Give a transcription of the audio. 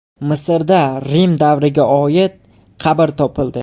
Misrda Rim davriga oid qabr topildi.